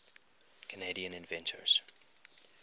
canadian inventors